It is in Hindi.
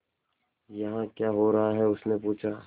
यहाँ क्या हो रहा है उसने पूछा